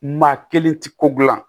Maa kelen ti ko gilan